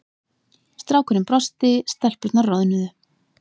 Strákurinn brosti, stelpurnar roðnuðu.